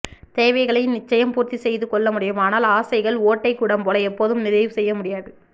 தேவைகளை நிச்சயம் பூர்த்தி செய்து கொள்ள முடியும் ஆனால் ஆசைகள் ஓட்டை குடம் போல எப்போதும் நிறைவு செய்ய முடியாது